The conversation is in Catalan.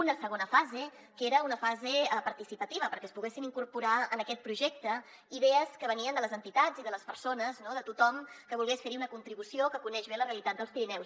una segona fase que era una fase participativa perquè es poguessin incorporar en aquest projecte idees que venien de les entitats i de les persones no de tothom que volgués fer hi una contribució que coneix bé la realitat dels pirineus